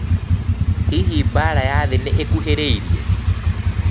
Hihi mbaara ya thĩ nĩ Ĩkuhĩrĩirie?